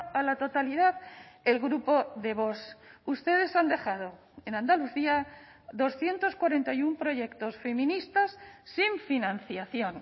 a la totalidad el grupo de vox ustedes han dejado en andalucía doscientos cuarenta y uno proyectos feministas sin financiación